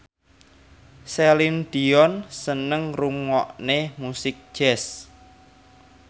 Celine Dion seneng ngrungokne musik jazz